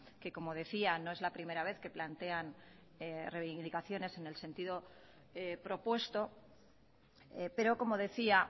que como decía no es la primera vez que plantean reivindicaciones en el sentido propuesto pero como decía